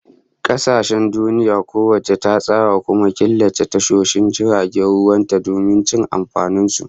Kasashen duniya kowace ta tsara, kuma ta killace tashoshin jiragen ruwan ta domin cin amfanin su